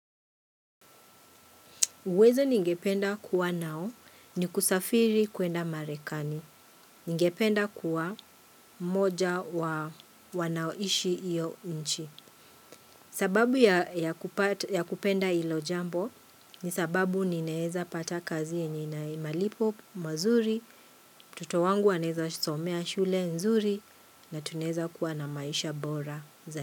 Uwezo ningependa kuwa nao ni kusafiri kuenda marekani. Ningependa kuwa moja wanaoishi hiyo nchi. Sababu ya kupenda hilo jambo ni sababu ninaeza pata kazi yenye ina malipo mazuri, mtoto wangu aneza somea shule nzuri na tunaeza kuwa na maisha bora.